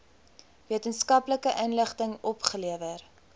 wetenskaplike inligting opgelewer